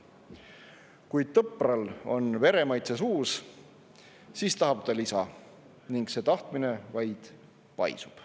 Kui tõpral on veremaitse suus, siis tahab ta lisa ning see tahtmine vaid paisub.